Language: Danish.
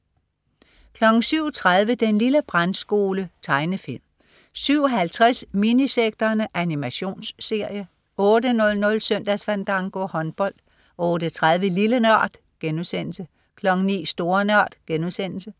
07.30 Den lille brandskole. Tegnefilm 07.50 Minisekterne. Animationsserie 08.00 Søndagsfandango. Håndbold 08.30 Lille NØRD* 09.00 Store NØRD*